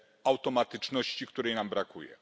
automatyczności, której nam brakuje.